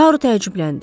Taru təəccübləndi.